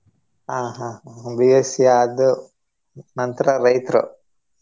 ಆ ಹಾ ಹಾ B.Sc ಆದ್ದು ನಂತ್ರ ರೈತ್ರು?